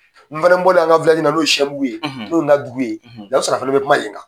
N fana bɔlen an ka la n'o sɛbugu ye n'o ye n ka dugu ye o ya sɔrɔ a fana bi kuma yen kan.